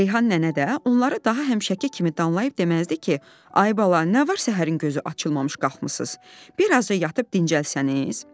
Reyhan nənə də onları daha həmişəki kimi danlayıb deməzdi ki, ay bala, nə var səhərin gözü açılmamış qalxmısınız, biraz da yatıb dincəlsəniz?